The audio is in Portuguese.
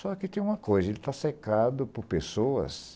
Só que tem uma coisa, ele está cercado por pessoas